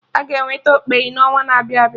Aga eweta okpeyi n'ọnwa na-abịa abịa